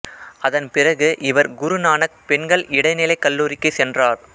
அதன் பிறகு இவர் குரு நானக் பெண்கள் இடைநிலைக் கல்லூரிக்குச் சென்றார்